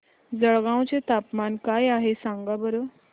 जळगाव चे तापमान काय आहे सांगा बरं